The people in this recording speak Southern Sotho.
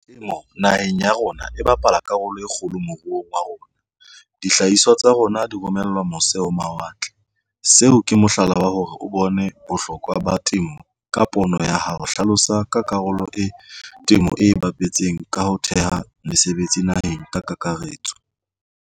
Temo naheng ya rona e bapala karolo e kgolo moruong wa rona. Dihlahiswa tsa rona di romelwa mose ho mawatle seo ke mohlala wa hore o bone bohlokwa ba temo ka pono ya hao. Hlalosa ka karolo e temo e bapetseng ka ho theha mesebetsi naheng ka kakaretso.